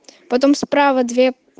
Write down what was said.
потом справа две